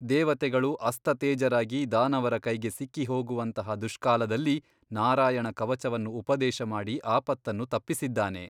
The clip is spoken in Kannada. ದೇವತೆಗಳು ಅಸ್ತತೇಜರಾಗಿ ದಾನವರ ಕೈಗೆ ಸಿಕ್ಕಿಹೋಗುವಂತಹ ದುಷ್ಕಾಲದಲ್ಲಿ ನಾರಾಯಣ ಕವಚವನ್ನು ಉಪದೇಶಮಾಡಿ ಆಪತ್ತನ್ನು ತಪ್ಪಿಸಿದ್ದಾನೆ.